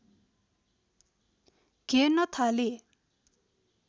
घेर्न थाले